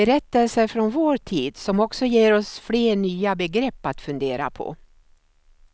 Berättelser från vår tid som också ger oss fler nya begrepp att fundera på.